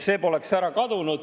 See poleks ära kadunud.